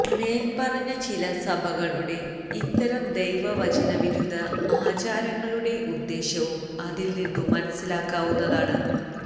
മേല്പറഞ്ഞ ചില സഭകളുടെ ഇത്തരം ദൈവവചനവിരുദ്ധ ആചാരങ്ങളുടെ ഉദ്ദേശ്യവും അതില് നിന്നു മനസ്സിലാക്കാവുന്നതാണ്